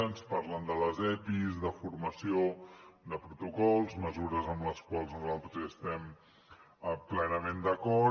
ens parlen de les epis de formació de protocols mesures amb les quals nosaltres estem plenament d’acord